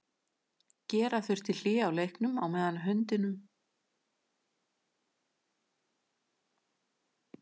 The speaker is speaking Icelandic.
Gera þurfti hlé á leiknum á meðan hundurinn var inn á vellinum.